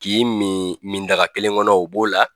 K'i mi midaga kelen kɔnɔ o b'o la